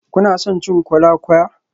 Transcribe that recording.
Kuna son cin kola-kwaya?